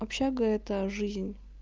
общага это жизнь